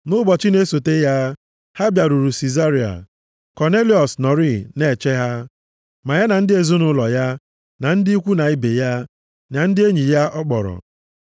Nʼụbọchị na-esota ya, ha bịaruru Sizaria. Kọnelịọs nọrịị na-eche ha, ya na ndị ezinaụlọ ya, na ndị ikwu na ibe ya, na ndị enyi ya ọ kpọrọ.